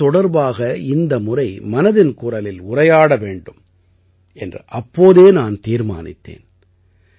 கணிதம் தொடர்பாக இந்த முறை மனதின் குரலில் உரையாட வேண்டும் என்று அப்போதே நான் தீர்மானித்தேன்